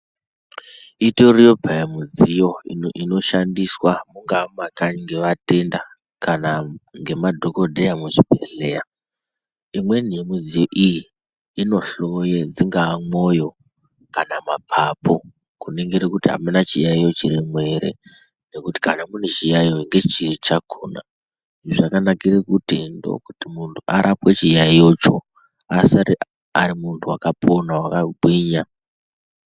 Itoriyo peyaa midziyo inoshandiswa kungaa mumakanyi ngevatenda kana ngemadhokodheya muzvibhehleya, imweni yemidziyo iyii inoshowa dzingaa mwoyo kana mapapu kuningira kuti amuna chiyayiyo chirimwo ere nekuti kana mune chiyayiyo ndechiri chakona zvakanakira kuti ndokuti munhu arapwe chiyayiyo choo asare ari muntu wakapona wakagwinya